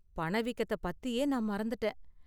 பண வீக்கத்த பத்தியே நான் மறந்துட்டேன்.